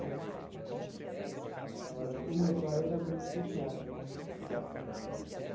Agora, o meu pai era muito fechado.